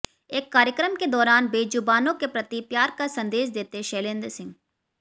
एक कार्यक्रम के दौरान बेज़ुबानों के प्रति प्यार का संदेश देते शैलेंद्र सिंह